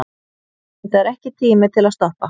Þetta er ekki tími til að stoppa.